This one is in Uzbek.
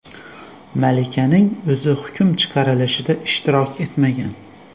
Malikaning o‘zi hukm chiqarilishida ishtirok etmagan.